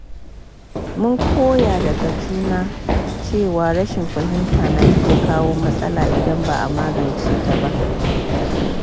Mun koya daga juna cewa rashin fahimta na iya kawo matsala idan ba a magance ta ba.